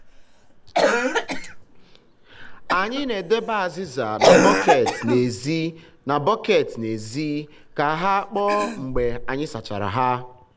anyị na-edebe azịza na bọket n’èzí na bọket n’èzí ka ha kpoo mgbe anyị sachara ihe.